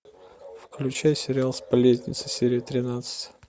включай сериал сплетница серия тринадцать